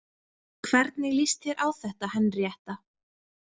Hvernig líst þér á þetta, Henríetta?